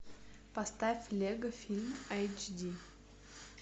поставь лего фильм айч ди